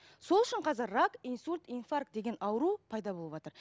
сол үшін қазір рак инсульт инфаркт деген ауру пайда болыватыр